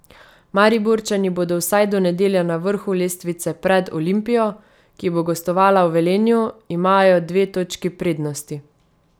Mariborčani bodo vsaj do nedelje na vrhu lestvice, pred Olimpijo, ki bo gostovala v Velenju, imajo dve točki prednosti.